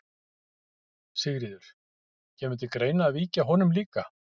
Sigríður: Kemur til greina að víkja honum líka?